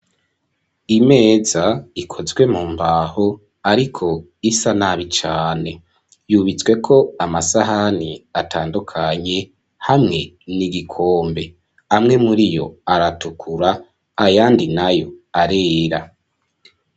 Imeza ikozwe mu mbaho, ariko isa nabi cane yubatsweko amasahani atandukanye, hamwe n'igikombe, amwe muriyo aratukura, ayandi nayo arera.